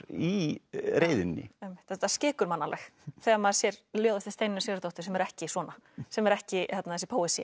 í reiðinni þetta skekur mann alveg þegar maður sér ljóð eftir Steinunni Sigurðardóttur sem er ekki svona sem er ekki þessi